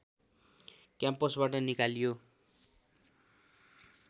क्याम्पसबाट निकालियो